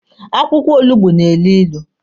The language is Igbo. Akwụkwọ olugbo na-elu ilu.